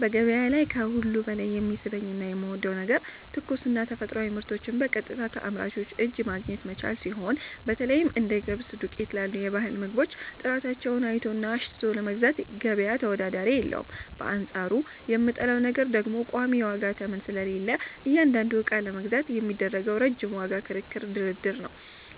በገበያ ላይ ከሁሉ በላይ የሚስበኝና የምወደው ነገር ትኩስና የተፈጥሮ ምርቶችን በቀጥታ ከአምራቹ እጅ ማግኘት መቻሉ ሲሆን፣ በተለይም እንደ ገብስ ዱቄት ላሉ የባህል ምግቦች ጥራታቸውን አይቶና አሽትቶ ለመግዛት ገበያ ተወዳዳሪ የለውም፤ በአንጻሩ የምጠላው ነገር ደግሞ ቋሚ የዋጋ ተመን ስለሌለ እያንዳንዱን ዕቃ ለመግዛት የሚደረገው ረጅም የዋጋ ክርክርና ድርድር ነው።